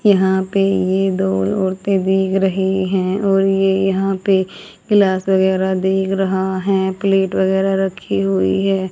यहां पे ये दो औरतें भीग रही हैं और ये यहां पे गिलास वगैराह दिख रहा हैं प्लेट वगैराह रखी हुई है।